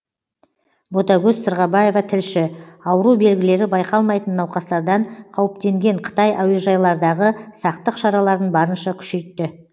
ботагөз сырғабаева тілші ауру белгілері байқалмайтын науқастардан қауіптенген қытай әуежайлардағы сақтық шараларын барынша күшейтті